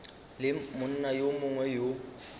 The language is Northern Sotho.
le monna yo mongwe yo